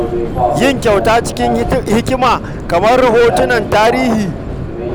Yin kyauta cikin hikima kamar kyautar hoton tarihi yana da matuƙar amfani.